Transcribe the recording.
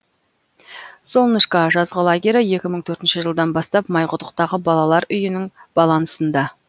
солнышко жазғы лагері екі мың төртінші жылдан бастап майқұдықтағы балалар үйінің балансында